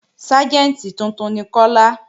Ságẹ̀ntì tuntun ni Kọ́lá